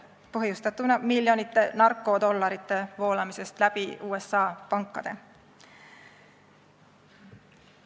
See oli põhjustatud miljonite narkodollarite voolamisest läbi USA pankade.